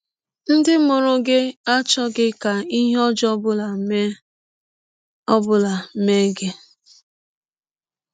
Ndị mụrụ gị achọghị ka ihe ọjọọ ọ bụla mee ọ bụla mee gị.